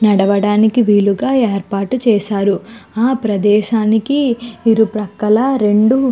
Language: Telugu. నడువడానికి విల్లుగా ఏర్పాటు చేసారు. ఆ ప్రదేశాని ఇరుపక్కల రెండు --